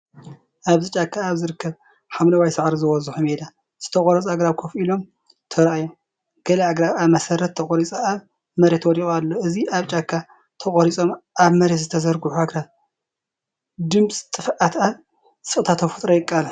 ኣብዚ ጫካ ኣብ ዝርከብ ሓምላይ ሳዕሪ ዝበዝሖ ሜዳ ዝተቖርጹ ኣግራብ ኮፍ ኢሎም ተራእዮም። ገለ ኣግራብ ካብ መሰረት ተቖሪጹ ኣብ መሬት ወዲቁ ኣሎ። እዚ ኣብ ጫካ ተቖሪጾም ኣብ መሬት ዝተዘርግሑ ኣግራብ፡ ድምጺ ጥፍኣት ኣብ ስቕታ ተፈጥሮ የቃልሕ።